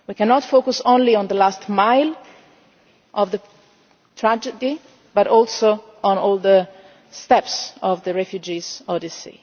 We cannot focus only on the last mile of the tragedy we must also consider all the steps of the refugees' odyssey.